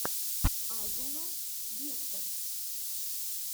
азула вектор